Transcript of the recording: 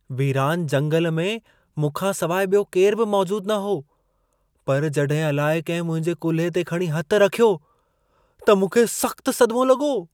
वीरान जंगल में मूंखां सवाइ ॿियो केरु बि मौजूदु न हो। पर जॾहिं अलाइ कंहिं मुंहिंजे कुल्हे ते खणी हथु रखियो, त मूंखे सख़्त सदिमो लॻो।